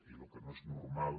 i el que no és normal